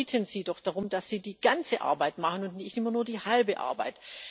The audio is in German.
Wir bitten Sie doch darum, dass Sie die ganze Arbeit machen und nicht immer nur die halbe Arbeit.